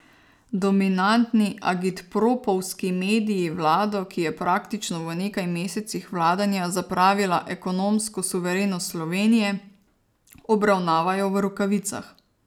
Dominantni agitpropovski mediji vlado, ki je praktično v nekaj mesecih vladanja zapravila ekonomsko suverenost Slovenije, obravnavajo v rokavicah.